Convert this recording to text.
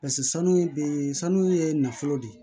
Paseke sanu ye be sanu ye nafolo de